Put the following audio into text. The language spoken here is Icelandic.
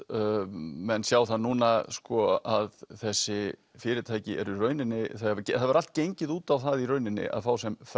menn sjá það núna sko að þessi fyrirtæki eru í rauninni það hefur allt gengið út á það í rauninni að fá sem